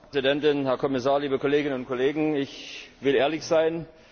Frau Präsidentin, Herr Kommissar, liebe Kolleginnen und Kollegen! Ich will ehrlich sein.